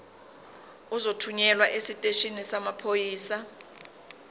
uzothunyelwa esiteshini samaphoyisa